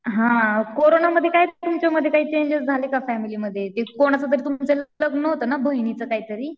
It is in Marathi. हां कोरोनामध्ये काय तुमच्यामध्ये काय चेंजेस झाले का फॅमिलीमध्ये कोणाचं तुमचं लग्न होतं ना बहिणीचं काहीतरी.